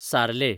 सालें